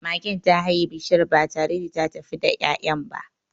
Magen ta haye bishiyar ba tare da ta tafi da ya'yan ba.